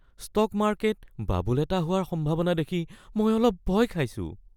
Stock market bubble এটা হোৱাৰ সম্ভাৱনা দেখি মই অলপ ভয় খাইছোঁ।